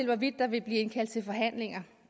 hvorvidt der vil blive indkaldt til forhandlinger